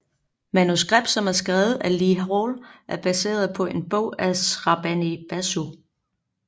Manuskript som er skrevet af Lee Hall er baseret på en bog af Shrabani Basu